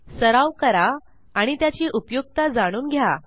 सराव करा आणि त्याची उपयुक्तता जाणून घ्या